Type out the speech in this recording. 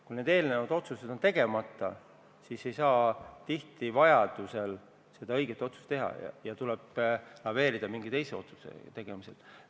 Kui eelnevad otsused on tegemata, siis ei saa tihti ka seda õiget otsust teha ja tuleb laveerida mingisuguse teise otsuse tegemisega.